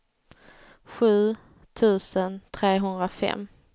sju tusen trehundrafem